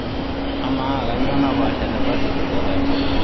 amaa kanyoo napaasha te pasifiki oo kati